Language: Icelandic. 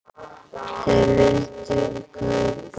Þeir vildu ekki kaupa.